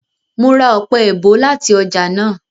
Mo ra ọpẹ-èèbó láti ọjà náà